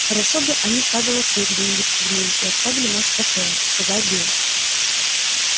хорошо бы они стадо лосей где нибудь спугнули и оставили нас в покое сказал билл